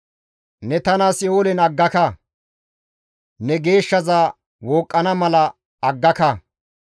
Ne tana Si7oolen aggaka; ne geeshshaza wooqqana mala aggaka.